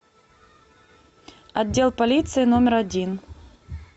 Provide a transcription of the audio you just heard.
отдел полиции номер один